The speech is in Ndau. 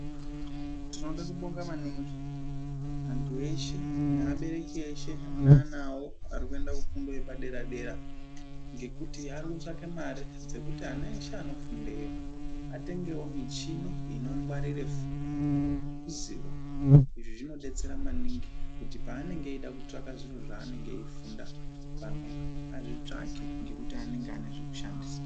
Tinode kubonga maningi antu veshe neabereki eshe ane ana awo ari kuenda kufundo yepadera dera, ngekuti ari kutsvake mari dzekuti ana eshe anofundeyo atengevo michini inongwarire zivo, izvi zvinodetsera maningi kuti paanenge eida kutsvaka zviro zvaanenge eikufunda pamhepo azvitsvake ngekuti anenge ane zvekushandisaa.